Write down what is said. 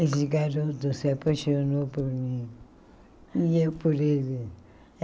Esse garoto se apaixonou por mim, e eu por ele.